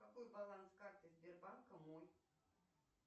какой баланс карты сбербанка мой